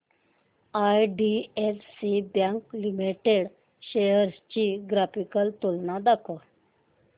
IDFC bank limited shares ची graphical तुलना दाखव